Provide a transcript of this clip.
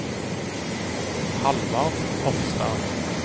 Halvard Hofstad